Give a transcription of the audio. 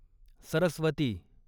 Saraswati